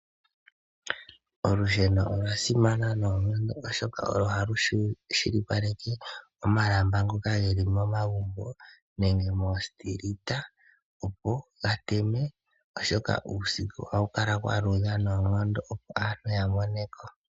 Olusheno olwa simana noonkono oshoka olo halu shilipaleke omalamba ngoka geli mo magumbo nenge mo mapaandaanda opo ga teme oshoka uusiku ohaku kala kwa luudha noonkondo, opo aantu ya moneko.